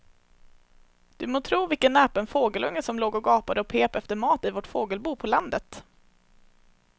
Du må tro vilken näpen fågelunge som låg och gapade och pep efter mat i vårt fågelbo på landet.